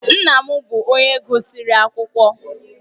Nna m bụ onye gụsịrị akwụkwọ